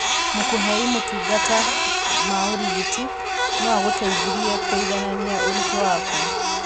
Mũkũhei motungata ma ũrigiti noagũteithĩrĩrie kũiganania ũritũ waku